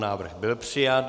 Návrh byl přijat.